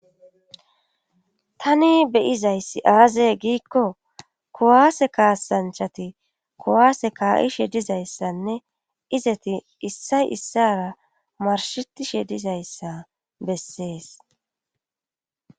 Tani beyizayssi aazey giikko kuwaase kaasanchati kowaase kaa7ishe dizayssanne izeti issay issara marshetishe dizayssa bessees